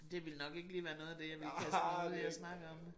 Det ville nok ikke lige være noget af det jeg ville kaste mig ud i at snakke om